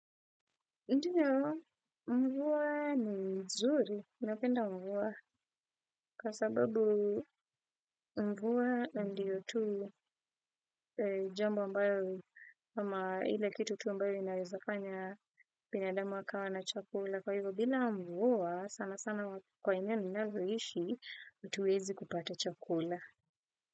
Ndiyo, mvua ni mzuri, napenda mvua, kwa sababu mvua ndiyo tu jambo ambayo, ama ile kitu tu ambayo inawezafanya binadamu akawa na chakula. Kwa hivyo, bila mvua, sana sana kwa eneo ninaloishi, hatuwezi kupata chakula.